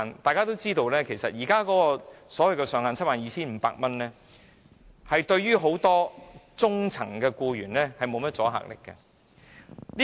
大家都知道，《條例草案》現時所訂的 72,500 元上限，對於很多中層僱員無甚保障。